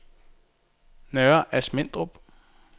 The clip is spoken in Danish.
Nørre Asmindrup